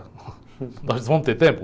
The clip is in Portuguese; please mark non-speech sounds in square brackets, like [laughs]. [laughs] Nós vamos ter tempo?